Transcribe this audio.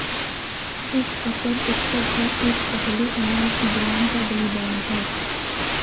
इस फसल उत्सव का एक पहलू अनाज भगवान का बलिदान है